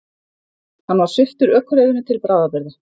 Hann var sviptur ökuleyfinu til bráðabirgða